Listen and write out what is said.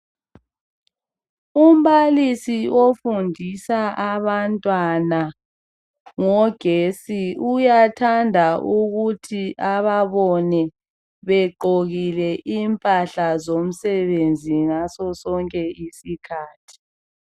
Umbalisi ofundisa abantwana ngogetsi uyathanda ukuthi ababone begqokile impahla zomsebenzi ngaso sonke isikhathi